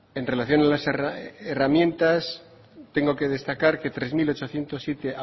en relación a las herramientas tengo que destacar que tres mil ochocientos siete